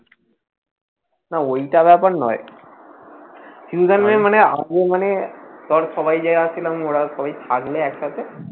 না ওইটা ব্যাপার নয়, চিন্তা নেই আমার মানে ধর সবাই যে যারা ছিলাম ওরা সবাই থাকবে এক সাথে